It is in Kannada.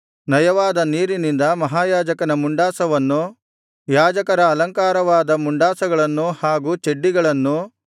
ನಯವಾದ ನಾರಿನಿಂದ ಮಹಾಯಾಜಕನ ಮುಂಡಾಸವನ್ನು ಯಾಜಕರ ಅಲಂಕಾರವಾದ ಮುಂಡಾಸಗಳನ್ನು ಹಾಗೂ ಚಡ್ಡಿಗಳನ್ನು